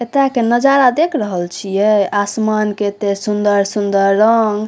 एता के नजारा देख रहल छीये आसमान के एते सुंदर-सुंदर रंग।